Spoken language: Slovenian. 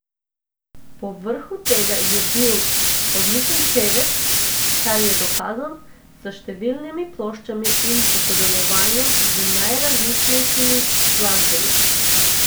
Povrhu tega je bil odličen pevec, kar je dokazal s številnimi ploščami in s sodelovanjem z najrazličnejšimi glasbeniki.